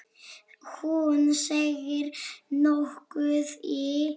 Hún seig nokkuð í.